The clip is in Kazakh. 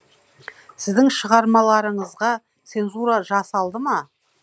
сіздің шығармаларыңызға цензура жасалды ма